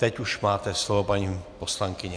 Teď už máte slovo, paní poslankyně.